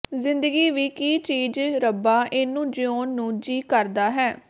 ਜਿੰਦਗੀ ਵੀ ਕੀ ਚੀਜ ਰੱਬਾ ਏਨੂੰ ਜਿਉਣ ਨੂੰ ਜੀ ਕਰਦਾ ਹੈ